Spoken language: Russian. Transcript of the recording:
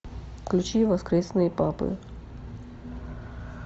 включи воскресные папы